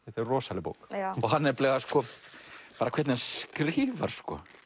þetta er rosaleg bók og bara hvernig hann skrifar sko